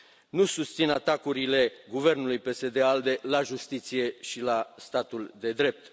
Nu susțin atacurile guvernului PSD ALDE la Justiție și la statul de drept.